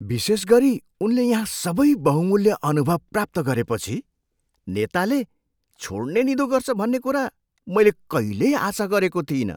विशेष गरी उनले यहाँ सबै बहुमूल्य अनुभव प्राप्त गरेपछि, नेताले छोड्ने निधो गर्छ भन्ने कुरा मैले कहिल्यै आशा गरेको थिइनँ।